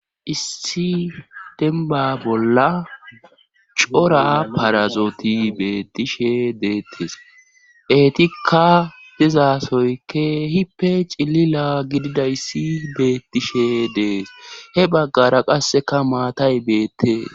issi denba bolla cora parazooti beettishe deettes eetikka dizaasoykke hippe cilila gididayssi beettishe dees he baggara qasseka maatay beettee